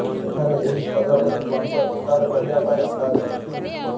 ଏଠାରେ ଏହି ପ୍ରଜାପତି ବଂଶ ବିସ୍ତାର କରିବା ପାଇଁ ଅଣ୍ଡା ଦେଇଛି